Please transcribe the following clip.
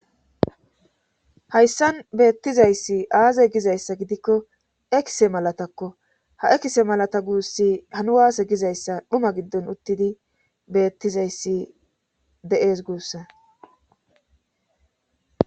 Hayssan beettizayssi aaze gizayssa gidikko ekise malatakko ha'ekise malata guussi hanuwaase gizayssa dhuma giddon uttidi beettizayssi deees guussa.